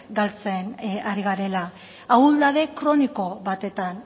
galtzen ari garela ahuldade kroniko batetan